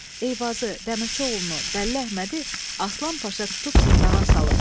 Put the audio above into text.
Eyvazı, Dəmirçi oğlunu, Bəlli Əhmədi, Aslan Paşa tutub zindana salıb.